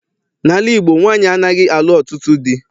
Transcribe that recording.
N'ala Igbo, nwaanyị anaghị alụ ọtụtụ dị.